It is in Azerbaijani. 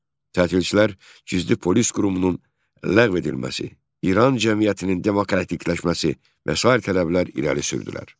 Tətilçilər gizli polis qurumunun ləğv edilməsi, İran cəmiyyətinin demokratikləşməsi və sair tələblər irəli sürdülər.